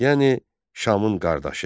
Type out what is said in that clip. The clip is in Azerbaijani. Yəni Şamın qardaşı.